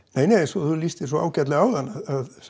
eins og þú lýstir svo ágætlega áðan að